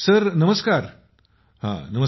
नमस्कार नमस्कार